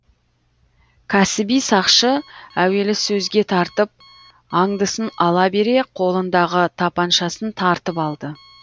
кәсіби сақшы әуелі сөзге тартып аңдысын ала бере қолындағы тапаншасын тартып алды